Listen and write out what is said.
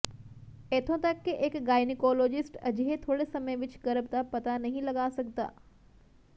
ਇੱਥੋਂ ਤਕ ਕਿ ਇਕ ਗਾਇਨੀਕੋਲੋਜਿਸਟ ਅਜਿਹੇ ਥੋੜ੍ਹੇ ਸਮੇਂ ਵਿਚ ਗਰਭ ਦਾ ਪਤਾ ਨਹੀਂ ਲਗਾ ਸਕਦਾ